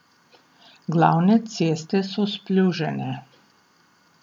Glavne ceste so splužene.